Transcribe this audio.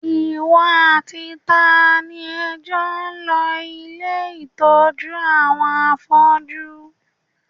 Ìwọ àti ta ni ẹ jọ lọ ilé ìtọ́jú àwọn afọ́jú?